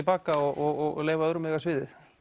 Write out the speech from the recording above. baka og leyfa öðrum að eiga sviðið